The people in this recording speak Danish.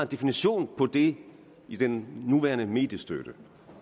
definition på det i den nuværende mediestøtte